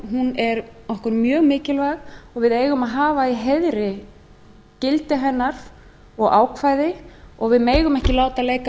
er okkur mjög mikilvæg og við eigum að hafa í heiðri gildi hennar og ákvæði og við megum ekki láta leika